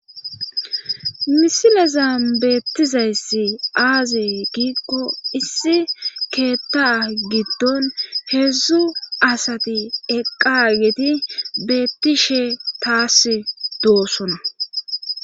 misileza beettizayssi aaze giikko issi keetta giddon heedzdzu asati eqqa gedi beettishe taas doossona